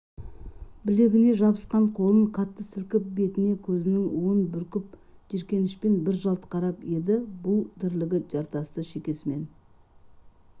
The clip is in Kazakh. білегіне жабысқан қолын қатты сілкіп бетіне көзінің уын бүркіп жиіркенішпен бір жалт қарап еді бұл тірлігі жартасты шекесімен